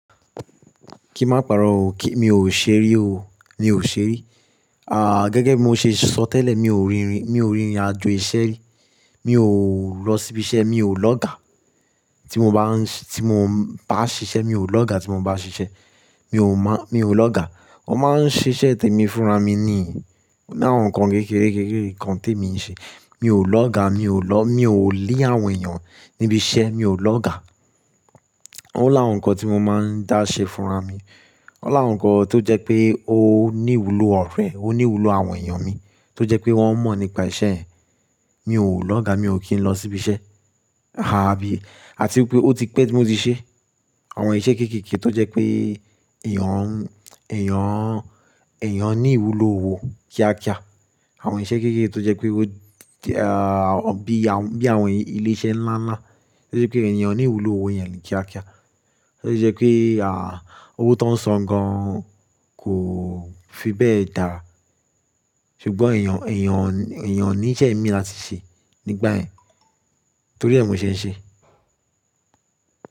Kí má pa'rọ́ o, kí mi ò ṣerí o, mi ò ṣerí. Gẹ́gẹ́ bi mo ṣe sọ tẹ́lẹ̀, mi ò rìn, mi ò rìnrìn àjò iṣẹ́ rí, mi ò lọ síbi iṣẹ́, mi ò lọga tí mo bá ń ṣi, tí mo bá ṣiṣẹ́ mi ò lọ ga tí mo bá ṣiṣẹ́. Mi ò mọ́, mi ò lọ ga. Mo máa ń ṣiṣẹ́ tèmi fúnra mi ni, mo láwọn nǹkan kékeré kékeré kan tèmi ń ṣe. Mi ò lọ ga, mi ò lọ, mi ò lé àwọn èèyàn níbi iṣẹ́, mi ò lọ ga. Ó láwọn nǹkan tí mo máa ń dá ṣe fúnra mi. Ó láwọn nǹkan tó jẹ́ pé ó ní ìwúlò ọ̀rẹ́, ó ní ìwúlò àwọn èèyàn mi tó jẹ́ pé wọ́n mọ̀ nípa iṣẹ́ yẹn. Mi ò lọ ga, mi ò kí ń lọ síbi iṣẹ́. Àbí, àti pé ó ti pẹ́ tí mo ti ṣe àwọn iṣẹ́ kéékèèké tó jẹ́ pé èèyàn, èèyàn, èèyàn ní ìwúlò owó kíákíá. Àwọn iṣẹ́ kéékèèké tó jẹ́ pé bí àwọn, bí àwọn ilé iṣẹ́ ńlá ńlá tó jẹ́ pé èèyàn ní ìwúlò owó yẹn ni kíákíá. Totií jẹ́ pé owó tọ ń san gan kò fi bẹ́ẹ̀ dára. Ṣùgbọ́n èèyàn, èèyàn, èèyàn ní iṣẹ́ mi la ti ṣe nígbà yẹn. Torí ẹ mo ṣe ń ṣe.